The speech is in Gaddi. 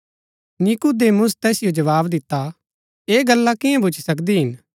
नीकुदेमुस तैसिओ जवाव दिता ऐह गल्ला कियां भूच्ची सकदी हिन